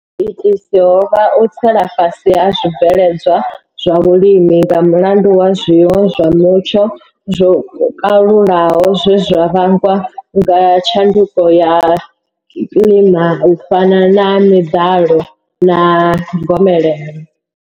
Ho vha u tsela fhasi ha zwibveledzwa zwa vhulimi nga mulandu wa zwiwo zwa mutsho zwo kalulaho zwe zwa vhangwa nga tshanduko ya kilima u fana na miḓalo na gomelelo.